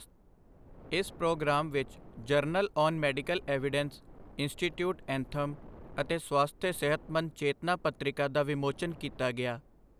ਇਸ ਪ੍ਰੋਗਰਾਮ ਵਿੱਚ journal on medical evidence, institute anthem, ਅਤੇ ਸਵਾਸਥਯ ਸਿਹਤਮੰਦ ਚੇਤਨਾ ਪਤ੍ਰਿਕਾ ਦਾ ਵਿਮੋਚਨ ਕੀਤਾ ਗਿਆ।